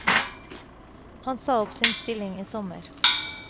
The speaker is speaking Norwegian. Han sa opp sin stilling i sommer.